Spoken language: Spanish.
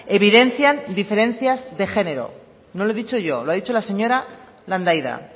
evidencian diferencias de género no lo he dicho yo lo ha dicho la señora landaida